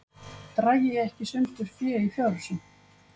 Dragi ekki sundur fé í fjárhúsum